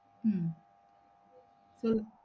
உம்